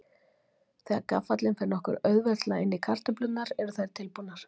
Þegar gaffallinn fer nokkuð auðveldlega inn í kartöflurnar eru þær tilbúnar.